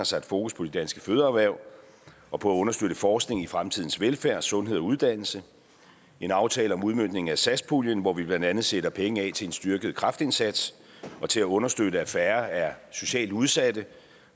sat fokus på de danske fødevareerhverv og på at understøtte forskning i fremtidens velfærd sundhed og uddannelse en aftale om udmøntning af satspuljen hvor vi blandt andet sætter penge af til en styrket kræftindsats og til at understøtte at færre er socialt udsatte